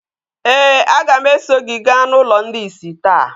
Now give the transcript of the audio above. ee, a ga m eso gị gaa n’ụlọ ndị ìsì taa.